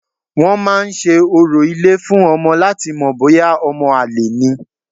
Wọ́n máa ń se orò ilé fún ọmọ láti mọ̀ bóyá ọmọ àlè ni